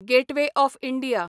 gateway of India